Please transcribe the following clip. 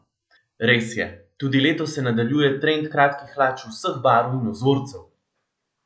Res je, tudi letos se nadaljuje trend kratkih hlač vseh barv in vzorcev!